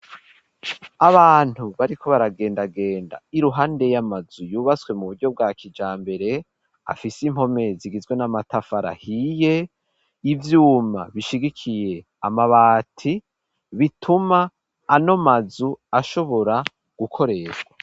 Abantu bariko baragendagenda iruhande y'amazu yubatswe mu buryo bwa kijambere afise impome zigizwe n'amatafari ahiye ivyuma bishigikiye amabati bituma ano mazu ashobora gukoreshwa.